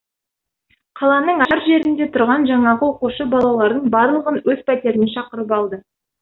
қаланың әр жерінде тұрған жаңағы оқушы балалардың барлығын өз пәтеріне шақырып алды